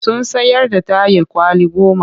Sun sayar da tayil kwali goma